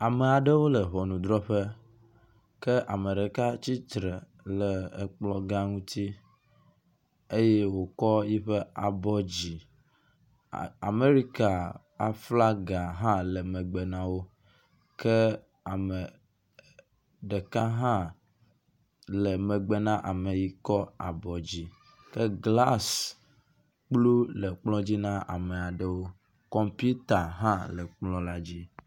Ame aɖewo le ŋɔnudrɔƒe kea me ɖeka tsitre le ekplɔgã ŋutsi eye wokɔ yiƒe abɔ dzi. A Amerika aflaga hã le megbe na wo ke ame ɖeka hã le megbe na ame yi ke kɔ abɔ dzi ke glasi kplu le kplɔ dzi na ame aɖewo. Kɔmputa hã le kplɔ dzi na wo.